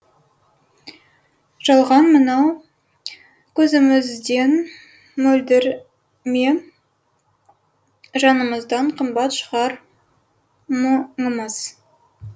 жалған мынау көзімізден мөлдір ме жанымыздан қымбат шығар мұңымыз